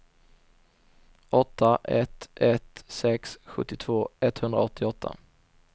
åtta ett ett sex sjuttiotvå etthundraåttioåtta